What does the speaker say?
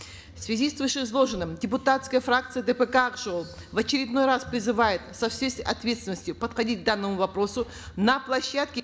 в связи с вышеизложенным депутатская фракция дпк ак жол в очередной раз призывает со всей ответственностью подходить к данному вопросу на площадке